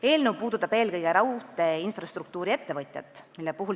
Eelnõu puudutab eelkõige raudteeinfrastruktuuri-ettevõtjat.